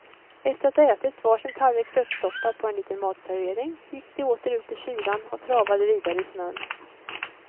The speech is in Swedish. Efter att ha ätit var sin tallrik köttsoppa på en liten matservering, gick de åter ut i kylan och travade vidare i snön.